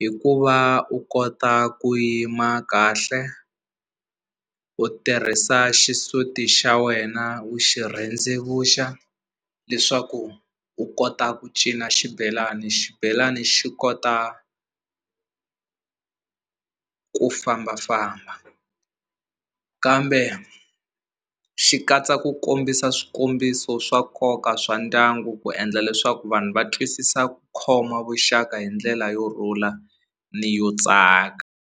hikuva u kota ku yima kahle u tirhisa xisuti xa wena u xi rhendzevuxa leswaku u kota ku cina xibelani xibelani xi kota ku fambafamba kambe xi katsa ku kombisa swikombiso swa nkoka swa ndyangu ku endla leswaku vanhu va twisisa ku khoma vuxaka hi ndlela yo rhula ni yo tsaka.